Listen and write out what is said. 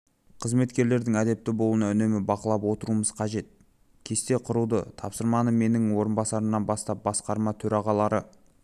қызметкерлердің әдепті болуын үнемі бақылап отыруымыз қажет кесте құруды тапсырамын менің орынбасарларымнан бастап басқарма төрағалары